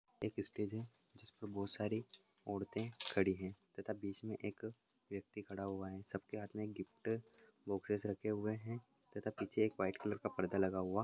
एक स्टेज है जिसपे बहुत सारी औरते खड़ी हैं तथा बीच मे एक व्यक्ति खड़ा हुआ हैं सब के हाथ मे एक गिफ्ट बोक्सेस रखे हुए हैं तथा पीछे एक व्हाइट कलर का पर्दा लगा हुआ --